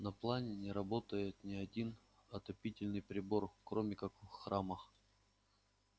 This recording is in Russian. на планете не работает ни один отопительный прибор кроме как в храмах